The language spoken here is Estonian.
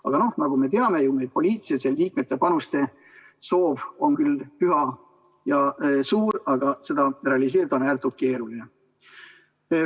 Aga nagu me teame, poliitiliselt see liikmete panuste soov on küll püha ja suur, aga seda realiseerida on ääretult keeruline.